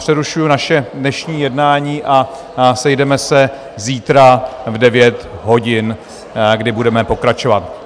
Přerušuji naše dnešní jednání a sejdeme se zítra v 9 hodin, kdy budeme pokračovat.